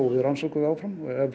við rannsökum það áfram ef